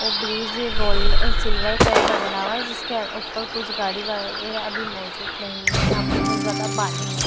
ओ बिजी gold uh silver colour का बना हुआ है जिसके ऊपर कुछ गाड़ी वगैरह भी मौजूद नहीं है यहां पर बहुत ज्यादा पानी है।